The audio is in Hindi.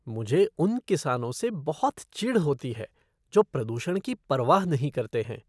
मुझे उन किसानों से बहुत चिढ़ होती है जो प्रदूषण की परवाह नहीं करते हैं।